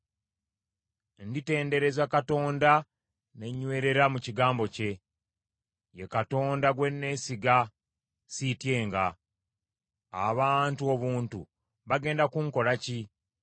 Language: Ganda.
Nditendereza Katonda ne nyweerera mu kigambo kye, ye Katonda gwe neesiga; siityenga. Abantu obuntu bagenda kunkolako ki?